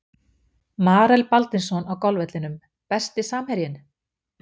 Marel Baldvinsson á golfvellinum Besti samherjinn?